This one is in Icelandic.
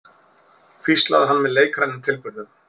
hvíslaði hann með leikrænum tilburðum.